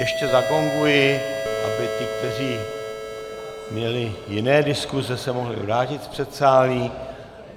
Ještě zagonguji, aby ti, kteří měli jiné diskuse, se mohli vrátit z předsálí.